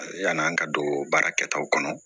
Yann'an ka don baara kɛtaw kɔnɔ